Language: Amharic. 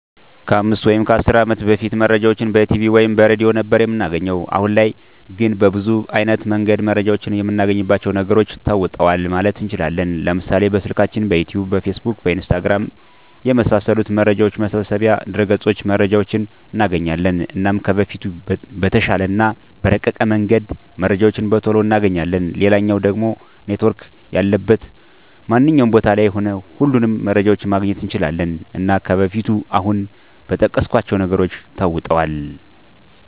ከ 5 ወይም 10 አመት በፊት መረጃን በቲቪ ወይም በሬድዮ ነበር እምናገኘዉ። አሁን ላይ ግን በብዙ አይነት መንገድ መረጃን እምናገኝባቸዉ ነገሮች ተለዉጠዋል ማለት እንችላለን፤ ለምሳሌ፦ በስልካችን፣ በዩቱዩብ፣ በፌስቡክ፣ በኢንስታግራም፣ የመሳሰሉት መረጃ መሰብሰቢያ ድረገፆች መረጃዎችን እናገኛለን። እና ከበፊቱ በተሻለ እና በረቀቀ መንገድ መረጃዎችን በቶሎ እናገኛለን፣ ሌላኛዉ ደሞ ኔትዎርክ ያለበት ማንኛዉም ቦታ ላይ ሁሉንም መረጃዎችን ማግኘት እንችላለን። እና ከበፊቱ አሁን በጠቀስኳቸዉ ነገሮች ተለዉጧል።